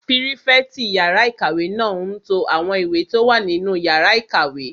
Pírífẹ̀tì yàrá-ìkàwé náà n to àwọn ìwé tó wà nínú yàrá ìkàwé